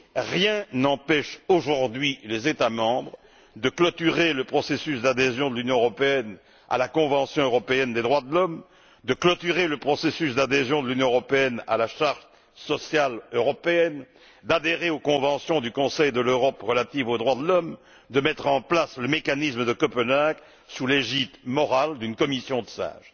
Rien n'empêche aujourd'hui les États membres de clôturer le processus d'adhésion de l'Union européenne à la Convention européenne des droits de l'homme, de clôturer le processus d'adhésion de l'Union européenne à la Charte sociale européenne, d'adhérer aux conventions du Conseil de l'Europe relatives aux droits de l'homme, de mettre en place le mécanisme de Copenhague, sous l'égide morale d'une commission de sages.